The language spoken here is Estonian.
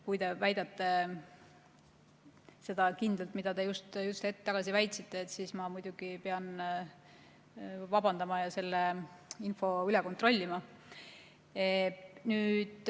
Kui te väidate kindlalt seda, mida te just hetk tagasi väitsite, siis ma muidugi pean vabandama ja selle info üle kontrollima.